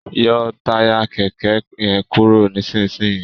yọ Táyà kéké yen kúrò nísìsiyìí!